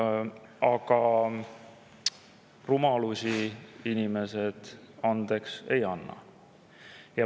Aga rumalusi inimesed andeks ei anna.